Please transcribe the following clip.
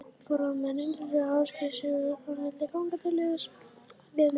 Forráðamenn Heildverslunar Ásgeirs Sigurðssonar vildu ganga til liðs við mig.